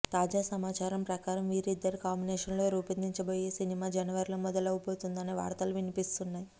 తాజా సమాచారం ప్రకారం వీరిద్దరి కాంబినేషన్ లో రూపొందబోయే ఈ సినిమా జనవరి లో మొదలవ్వబోతుంది అనే వార్తలు వినిపిస్తున్నాయి